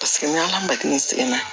Paseke ni ala ma hakili sigi